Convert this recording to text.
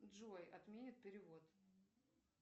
джой отменят перевод